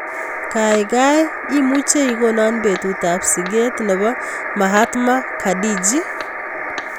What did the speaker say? Kaigai imuche igonon betutap siget ne po Mahatma Gandhiji